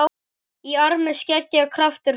Í armi seggja kraftur felst.